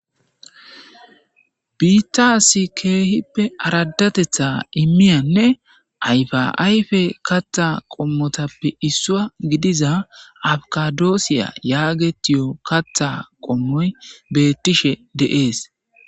biittaasi keehippe aradatetha immiyanne ayfaayfe kattha qommotappe issua gidiza afkadoossiya yaagetiyo katha qommoy beettishe deees